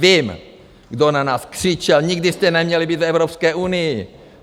Vím, kdo na nás křičel - nikdy jste neměli být v Evropské unii!